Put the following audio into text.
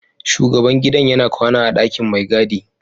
Shugaban gidan yana kwana a ɗakin mai gida.